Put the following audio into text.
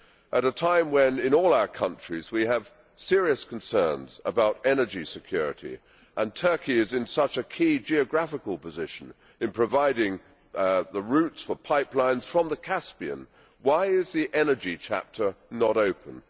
At a time when, in all our countries, we have serious concerns about energy security, and Turkey is in such a key geographical position in providing the routes for pipelines from the Caspian, why is the energy chapter not open?